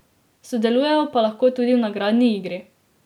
Sodelujejo pa lahko tudi v nagradni igri.